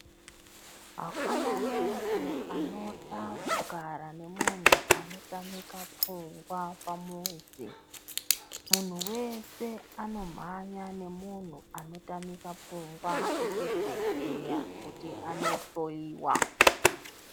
Hakuna muntu anoda kugara nemunhu anotamika pfungwa pamuzi. Munhu wese anomhanya nemunhu anotamika pfungwa kuchibhedhleya kuti anohloyiwa.